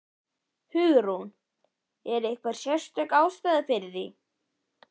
Hugrún: Er einhver sérstök ástæða fyrir því?